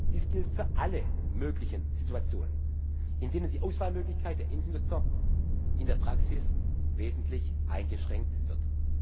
Dies gilt für alle möglichen Situationen, in denen die Auswahlmöglichkeit der Endnutzer in der Praxis wesentlich eingeschränkt wird.